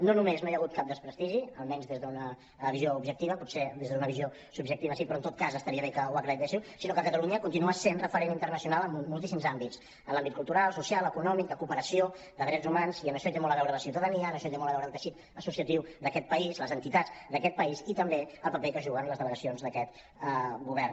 no només no hi ha hagut cap desprestigi almenys des d’una visió objectiva potser des d’una visió subjectiva sí però en tot cas estaria bé que ho acreditéssiu sinó que catalunya continua sent referent internacional en moltíssims àmbits en l’àmbit cultural social econòmic de cooperació de drets humans i en això hi té molt a veure la ciutadania en això hi té molt a veure el teixit associatiu d’aquest país les entitats d’aquest país i també el paper que juguen les delegacions d’aquest govern